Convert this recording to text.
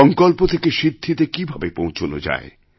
সংকল্প থেকে সিদ্ধিতে কীভাবে পৌঁছান যায়